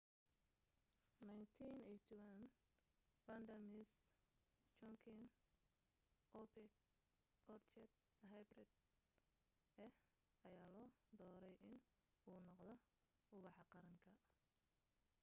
1981 vanda miss joaquim ubax orchid hybrid ah ayaa loo dooray in uu noqdo buxa qaranka